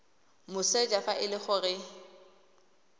moseja fa e le gore